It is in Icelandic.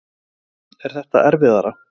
Linda: Er það erfiðara?